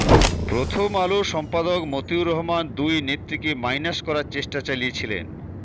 প্রথমআলো সম্পাদক মতিউর রহমান দুই নেত্রীকে মাইনাস করার চেষ্টা চালিয়েছিলেন